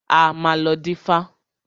A máa lọ dífá.